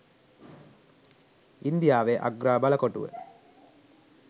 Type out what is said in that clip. ඉන්දියාවේ අග්‍රා බලකොටුව